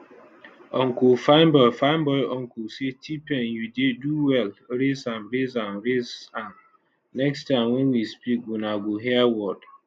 unclefineboy fineboyuncle say tpain you dey do well raise am raise am raise am next time wen we speak una go hear word